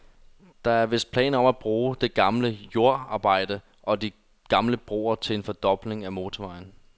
Der er vist planer om at bruge det gamle jordarbejde og de gamle broer til en fordobling af motorvejen.